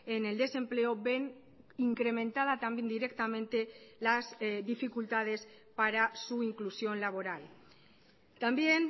en el desempleo ven incrementada también directamente las dificultades para su inclusión laboral también